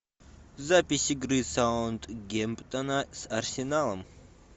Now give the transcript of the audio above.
запись игры саутгемптона с арсеналом